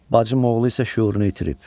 Bacım oğlu isə şüurunu itirib.